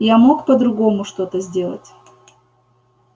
я мог по-другому что-то сделать